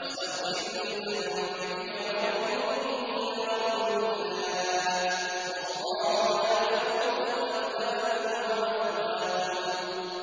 وَاسْتَغْفِرْ لِذَنبِكَ وَلِلْمُؤْمِنِينَ وَالْمُؤْمِنَاتِ ۗ وَاللَّهُ يَعْلَمُ مُتَقَلَّبَكُمْ وَمَثْوَاكُمْ